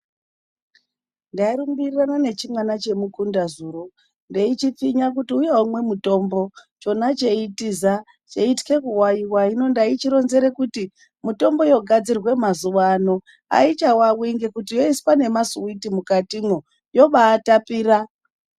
Ndairumbirirane nechimwana chemukunda zuro ndeichipfinya kuti uya umwe mutombo. Chona cheitiza cheityha kuvawiwa. Hino ndeichironzere kuti mitombo yogadzirwa mazuwano aichawawi nekuti yoiswa nemasiuviti mukatimwo yobaatapira.